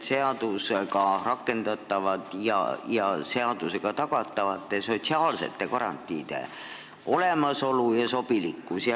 Pean silmas seadusega tagatud sotsiaalsete garantiide olemasolu ja sobilikkust.